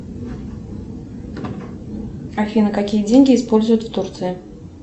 афина какие деньги используют в турции